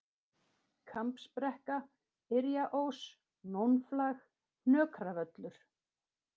Kambsbrekka, Yrjaós, Nónflag, Hnökravöllur